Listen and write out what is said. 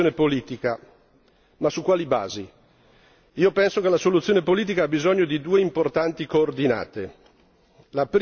Serve una soluzione politica, ma su quali basi? Io penso che la soluzione politica abbia bisogno di due importanti coordinate.